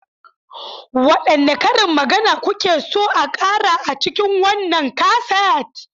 Wadanne karin magana kuke so a kara a cikin wannan kaset?